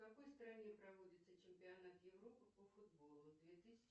в какой стране проводится чемпионат европы по футболу две тысячи